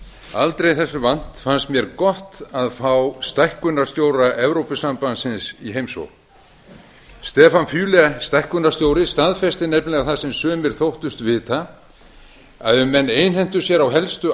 aldrei þessu vant fannst mér gott að fá stækkunarstjóra evrópusambandsins í heimsókn stefan füle stækkunarstjóri staðfesti nefnilega það sem sumir þóttust vita að ef menn einhentu sér á helstu